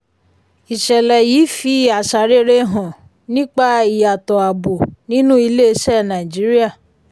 ìṣẹ̀lẹ̀ yìí fi àṣà rere hàn nípa ìyàtọ̀ abo nínú ilé-iṣẹ́ nàìjíríà.